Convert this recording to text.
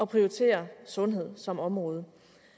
prioritere sundhed som område